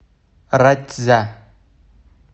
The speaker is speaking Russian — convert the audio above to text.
ратьзя